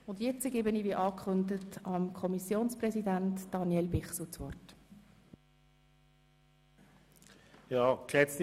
Ich erteile dem Kommissionspräsidenten, Grossrat Bichsel, das Wort.